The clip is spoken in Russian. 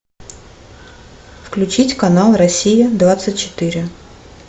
включить канал россия двадцать четыре